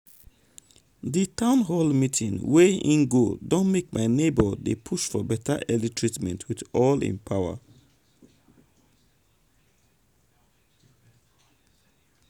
um di town hall meeting wey hin go don make my neighbor make hin dey um push for beta early treatment with all hin power.